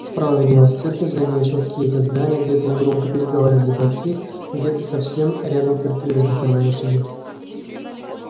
справа виднелась церковь за нею ещё какие то здания где то негромко переговаривались бойцы где то совсем рядом фыркали и вздыхали лошади